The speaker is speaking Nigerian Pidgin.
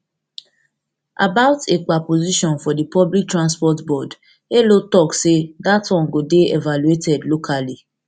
about ekpa position for di public transport board elo tok say dat one go go dey evaluated locally